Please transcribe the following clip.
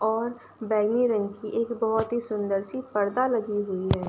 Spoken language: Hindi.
और बैंगनी रंग की एक बोहोत ही सुंदर सी पर्दा लगी हुई है।